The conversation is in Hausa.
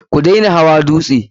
Ku dena hawa dutse!